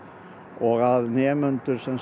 og að nemendur